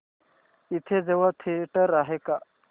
इथे जवळ थिएटर आहे का